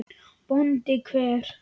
BÓNDI: Hver?